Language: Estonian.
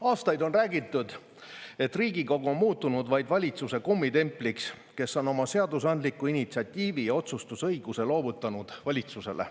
Aastaid on räägitud, et Riigikogu on muutunud vaid valitsuse kummitempliks, kes on oma seadusandliku initsiatiivi ja otsustusõiguse loovutanud valitsusele.